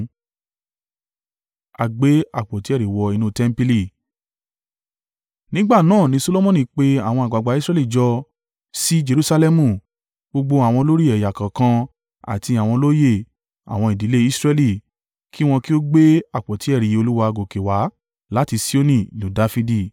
Nígbà náà ni Solomoni pe àwọn àgbàgbà Israẹli jọ sí Jerusalẹmu, gbogbo àwọn olórí ẹ̀yà kọ̀ọ̀kan àti àwọn olóyè àwọn ìdílé Israẹli, kí wọn kí ó gbé àpótí ẹ̀rí Olúwa gòkè wá láti Sioni ìlú Dafidi.